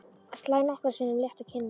Slær nokkrum sinnum létt á kinnarnar.